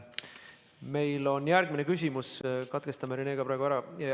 Meil on järgmine küsimus, katkestame sinuga praegu ära.